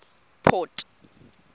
port